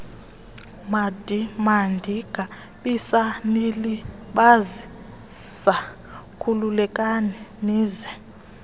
mandingabisanilibazisa khululekani nize